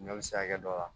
Ɲɔ bi se ka kɛ dɔ la